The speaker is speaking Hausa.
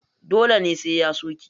Dole ne sai ya so ki?